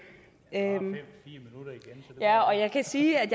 her må jeg sige at